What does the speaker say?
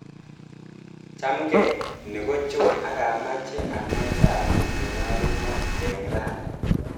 Chamgee, ni ko John akamache anai sanit nenyolunat eng rani.